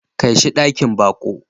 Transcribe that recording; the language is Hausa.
Kai shi dakin baƙo.